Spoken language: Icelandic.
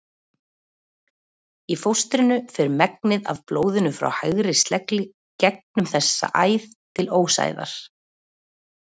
Í fóstrinu fer megnið af blóðinu frá hægri slegli gegnum þessa æð til ósæðar.